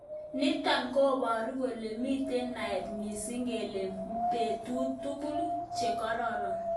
Nitok koburu kole mitei naet missing kele bitu tukun chekororon.